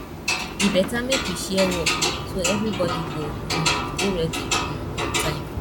e better make we share work so everything go um dey ready um on time